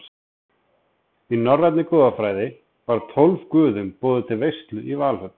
Í norrænni goðafræði var tólf guðum boðið til veislu í Valhöll.